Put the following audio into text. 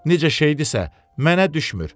Necə şeydisə, mənə düşmür.